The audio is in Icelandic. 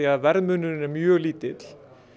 að verðmunurinn er mjög lítill